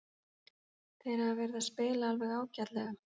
Þeir hafa verið að spila alveg ágætlega.